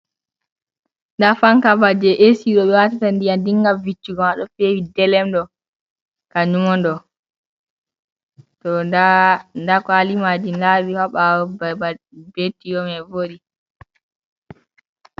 Nda fanka ba je esi ɗo ɓe watata ndiyam dinga ta viccugo ma ɗo fewi delem ɗo, kanjum on ɗo, to nda kwali majin nda ɗi ɓawo babal ɓe tiyoman voɗi.